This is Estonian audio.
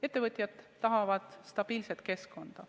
Ettevõtjad tahavad stabiilset keskkonda.